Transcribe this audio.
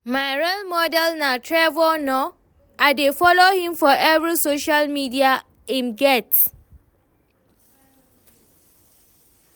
My role model na Trevor Noah, I dey follow him for every social media im get